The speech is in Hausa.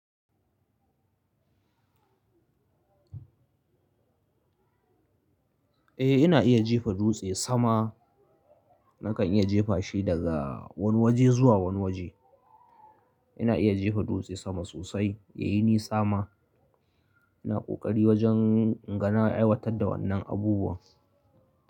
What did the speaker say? Eh ina iya jifa dutse sama. Nakan iya jefa shi daga wani waje zuwa wani waje. Ina iya jifa dutse sama sosai ya yi ni sama. Ina ƙoƙari wajen inga na aiwatar da wannan abubuwan.